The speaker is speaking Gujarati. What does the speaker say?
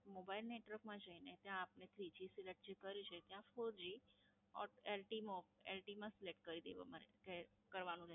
Mobile Network માં જઈને ત્યાં આપને Three G Select કર્યું છે, ત્યાં Four G Ilty Mo Ilty માં Select કરી દેવામાં કે કરવાનું રહેશે.